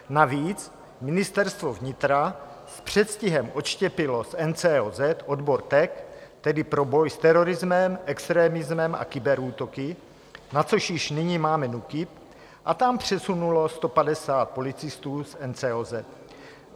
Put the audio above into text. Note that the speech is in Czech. Navíc Ministerstvo vnitra s předstihem odštěpilo z NCOZ odbor TEK, tedy pro boj s terorismem, extremismem a kyberútoky, na což již nyní máme NÚKIB, a tam přesunulo 150 policistů z NCOZ.